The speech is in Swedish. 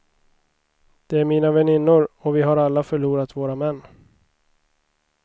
Det är mina väninnor, och vi har alla förlorat våra män.